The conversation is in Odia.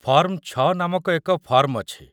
ଫର୍ମ-୬ ନାମକ ଏକ ଫର୍ମ ଅଛି |